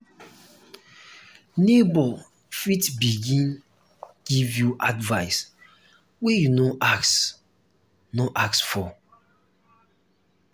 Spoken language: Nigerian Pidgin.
neighbour fit begin give you advise wey you no ask no ask for